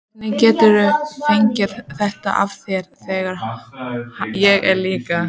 Hvernig geturðu fengið þetta af þér, þegar ég er líka.